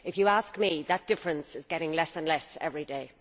If you ask me that difference is getting less and less every day.